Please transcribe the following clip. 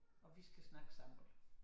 Og vi skal snakke sammen